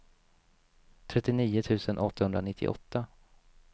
trettionio tusen åttahundranittioåtta